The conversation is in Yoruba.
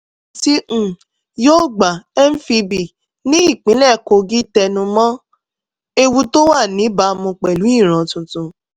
ìparun ti unyogba mfb ní ìpínlẹ̀ kogi tẹnu mọ́ ewu tó wà níbàámu pẹ̀lú ìran tuntun